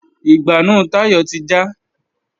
Ìgbánú Táyọ̀ ti já